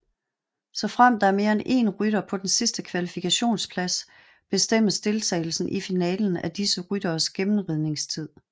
Såfremt der er mere en én rytter på den sidste kvalifikationsplads bestemmes deltagelsen i finalen af disse rytteres gennemridningstid